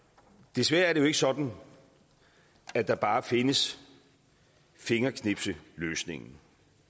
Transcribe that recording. desværre er det jo ikke sådan at der bare findes fingerknipsløsningen